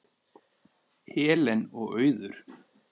Helen og Auður.